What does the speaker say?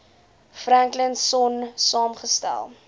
franklin sonn saamgestel